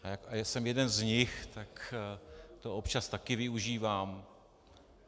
A já jsem jeden z nich, tak to občas také využívám.